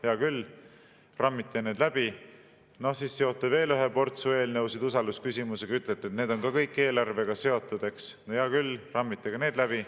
Hea küll, rammite need läbi, seote veel ühe portsu eelnõusid usaldusküsimusega, ütlete, et need on ka kõik eelarvega seotud, eks – no hea küll, rammite ka need läbi.